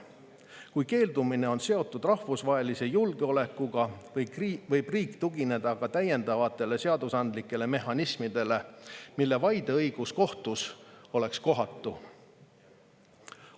Kui keeldumine on seotud rahvusvahelise julgeolekuga, võib riik tugineda ka täiendavatele seadusandlikele mehhanismidele, mille vaideõigus kohtus oleks kohatu.